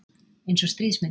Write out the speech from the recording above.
Eins og stríðsmynd